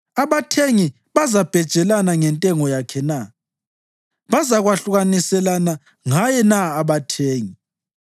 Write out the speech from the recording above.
Abathengi bazabhejelana ngentengo yakhe na? Bazakwahlukaniselana ngaye na abathengi?